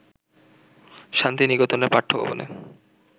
শান্তিনিকেতনের পাঠ্যভবনে